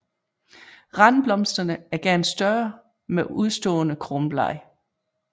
Randblomsterne er gerne større med udstående kronblade